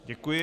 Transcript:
Děkuji.